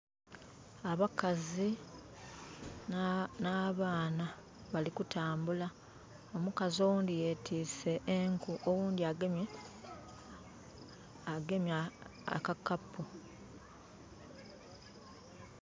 Abakazi n'abaana bali kutambula. Omukazi oghundhi yetwiise enku, oghundhi agemye akakapu.